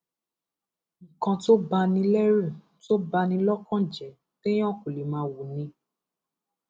nǹkan tó bá ní lẹrú tó bá ní lọkàn jẹ téèyàn kò lè máa wò ni